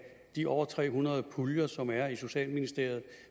de over tre hundrede puljer som er i socialministeriet